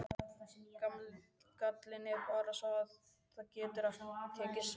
Gallinn er bara sá að það getur tekið sinn tíma.